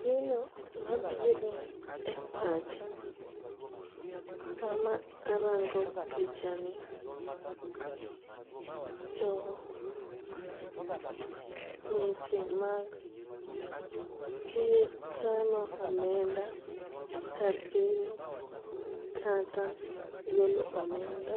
Gino mabiro e pacha sama arango picha ni to weche mag kano omenda kar keno kata golo omenda